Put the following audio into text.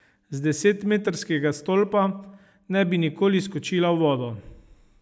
Z desetmetrskega stolpa ne bi nikoli skočila v vodo.